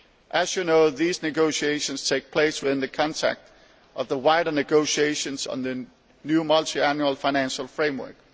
As you know, these negotiations take place within the context of the wider negotiations on the new Multiannual Financial Framework.